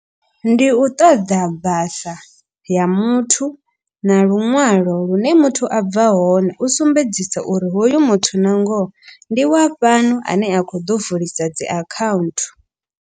Ndi u ṱoḓa basa ya muthu na luṅwalo lune muthu a bva hone. U sumbedzisa uri hoyu muthu na ngoho ndi wa fhano ane a kho ḓo vulisa dzi account.